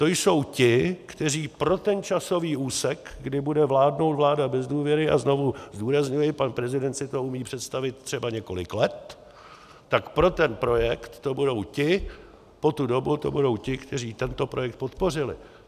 To jsou ti, kteří pro ten časový úsek, kdy bude vládnout vláda bez důvěry - a znovu zdůrazňuji, pan prezident si to umí představit třeba několik let -, tak pro ten projekt to budou ti, po tu dobu to budou ti, kteří tento projekt podpořili.